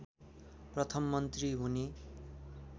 प्रथम मन्त्री हुने